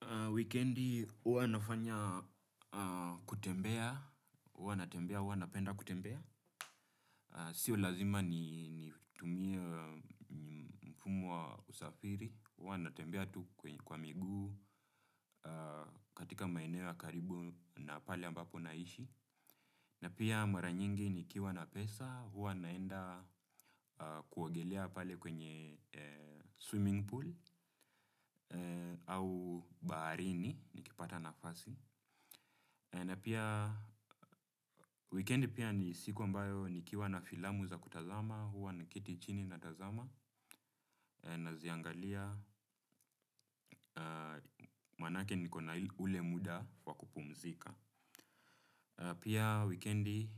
A weekendi, huwa nafanya kutembea, huwa na tembea, huwa na penda kutembea. Sio lazima ni tumie mfumo wa usafiri, huwa na tembea tu kwa miguu katika maeneo ya karibu na pale ambapo naishi. Na pia mara nyingi ni kiwa na pesa, huwa naenda kuogelea pale kwenye swimming pool au baharini, nikipata na fasi. Na pia weekendi pia ni siku ambayo ni kiwa na filamu za kutazama huwa na keti chini na tazama na ziangalia manake niko na ule muda wakupumzika. Pia weekendi